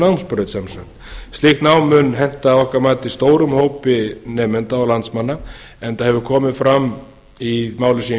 fjölbreytninámsbraut sem sagt slíkt nám mun henta að okkar mati stórum hópi nemenda og landsmanna enda hefur komið fram í máli sem ég